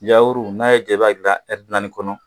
Yawuru n'a y'i diya i b'a dilan naani kɔnɔ